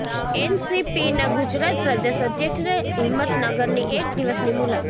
એનસીપીના ગુજરાત પ્રદેશ અધ્યક્ષે હિંમતનગરની એક દિવસની મુલાકાત